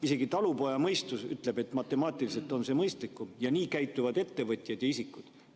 Isegi talupojamõistus ütleb, et matemaatiliselt on see mõistlikum, nii käituvad ettevõtjad ja isikud.